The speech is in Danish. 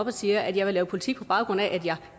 og siger at jeg vil lave politik på baggrund af at jeg